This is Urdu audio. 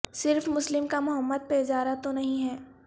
صرف مسلم کا محمد پہ اجارہ تو نہیں ہے